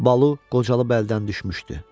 Balu qocalıb əldən düşmüşdü.